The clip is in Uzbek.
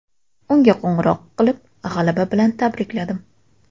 Unga qo‘ng‘iroq qilib, g‘alaba bilan tabrikladim.